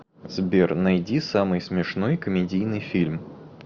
сбер найди самый смешной комедийный фильм